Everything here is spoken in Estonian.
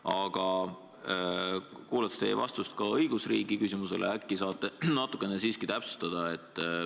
Aga kuulaks teie vastust ka õigusriigi küsimusele, äkki saate natukene siiski täpsustada.